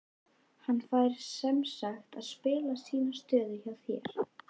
Hann fær semsagt að spila sína stöðu hjá þér?